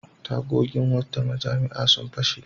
Tagogin wata mujami'a sun fashe.